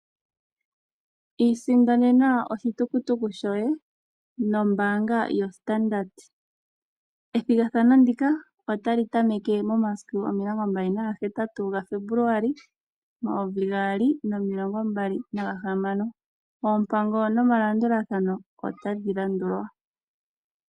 Iisindanena oshitukutuku shoye nombaanga yoStandard Bank . Ethigathano ndika otali tameke momasiku 28 Febuluali 2026 . Oompango nomalandulathano otadhi landulwa.